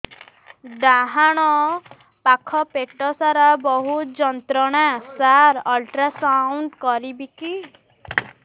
ଡାହାଣ ପାଖ ପେଟ ସାର ବହୁତ ଯନ୍ତ୍ରଣା ସାର ଅଲଟ୍ରାସାଉଣ୍ଡ କରିବି କି